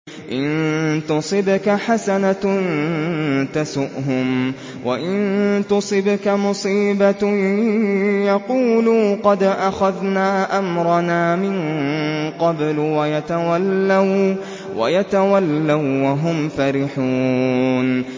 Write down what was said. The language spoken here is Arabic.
إِن تُصِبْكَ حَسَنَةٌ تَسُؤْهُمْ ۖ وَإِن تُصِبْكَ مُصِيبَةٌ يَقُولُوا قَدْ أَخَذْنَا أَمْرَنَا مِن قَبْلُ وَيَتَوَلَّوا وَّهُمْ فَرِحُونَ